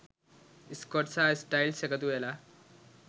Scott සහ Styles එකතුවෙලා